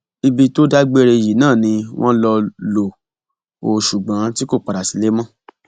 ibi tó dágbére yìí náà ni wọn lọ lò ó ṣùgbọn tí kò padà sílé mọ